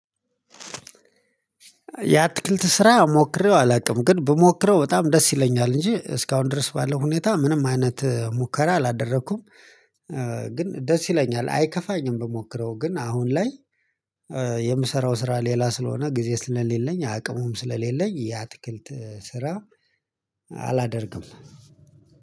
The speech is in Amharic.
የአትክልት ስራ ሞክሬው አላውቅም ግን ብሞክረው በጣም ደስ ይለኛል እንጂ እስካሁን ድረስ ባለው ሁኔታ ምንም አይነት ሙከራ አላደረኩም። ግን ደስ ይለኛል አይከፋኝም ብሞክረው ግን አሁን ላይ የምሰራው ስራ ሌላ ስለሆነ ጊዜ ስለሌለኝ አቅሙም ስለሌለኝ የአትክልት ስራ አላደርግም።